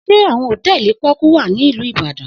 Se awon hotẹẹli poku wa ni ilu Ibadan?